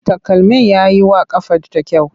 Takalmin ya yi wa ƙafarta kyau.